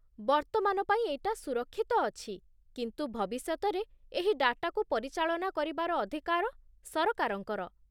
ବର୍ତ୍ତମାନ ପାଇଁ ଏଇଟା ସୁରକ୍ଷିତ ଅଛି, କିନ୍ତୁ ଭବିଷ୍ୟତରେ ଏହି ଡାଟାକୁ ପରିଚାଳନା କରିବାର ଅଧିକାର ସରକାରଙ୍କର ।